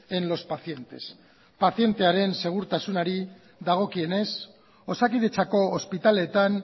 en los pacientes pazientearen segurtasunari dagokienez osakidetzako ospitaletan